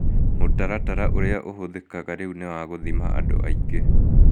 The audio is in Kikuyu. Mũtaratara ũrĩa ũhũthĩkaga rĩu nĩ wa gũthima andũ aingĩ.